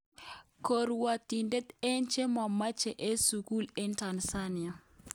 korwotitet eng che monochi eng sukul eng Tanzania.